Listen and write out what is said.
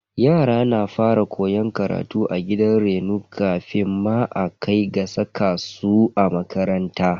Yara na fara koyon karatu a gidan reno kafin ma a kai ga saka su a makaranta.